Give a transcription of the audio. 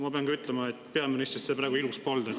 Ma pean ütlema, et peaministrist see praegu ilus polnud.